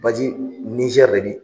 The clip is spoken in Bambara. Baji Nizɛri yɛrɛ de